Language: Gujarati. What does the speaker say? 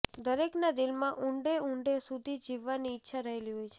દરેકના દિલમાં ઊંડે ઊંડે સુધી જીવવાની ઈચ્છા રહેલી હોય છે